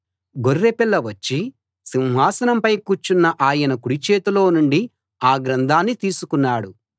గొర్రెపిల్ల వచ్చి సింహాసనంపై కూర్చున్న ఆయన కుడి చేతిలో నుండి ఆ గ్రంథాన్ని తీసుకున్నాడు